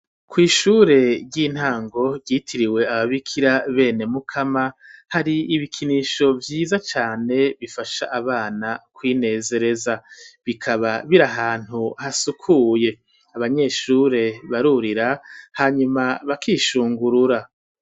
Kw'ishure ry'intango ryitiriwe ababikira bene mukama hari ibikinisho vyiza cane bifasha abana kwinezereza bikaba biri ahantu hasukuye abanyeshure barurira hanyuma bakishungurura.